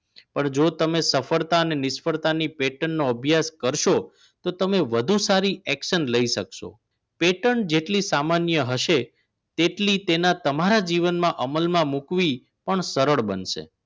પણ જો તમે સફળતા અને નિષ્ફળતા patent નો અભ્યાસ કરશો તો તમે વધુ સારી action લઈ શકશો patent જેટલી સામાન્ય હશે તેટલી તમારા જીવનમાં અમલમાં મૂકવી પણ સરળ બનશે